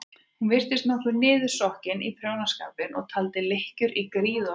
Hún virtist niðursokkin í prjónaskapinn og taldi lykkjur í gríð og erg.